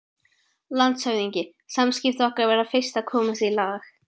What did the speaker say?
LANDSHÖFÐINGI: Samskipti okkar verða fyrst að komast í lag.